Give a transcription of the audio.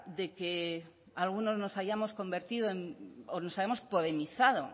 de que algunos nos hayamos convertido en o nos hayamos podemizado oiga